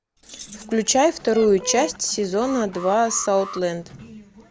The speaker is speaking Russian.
включай вторую часть сезона два саутленд